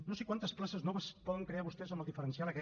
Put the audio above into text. no sé quantes places noves poden crear vostès amb el diferencial aquest